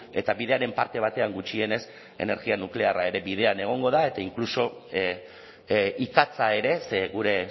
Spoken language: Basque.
eta bidearen parte batean gutxienez energia nuklearra ere bidean egongo da eta inkluso ikatza ere ze gure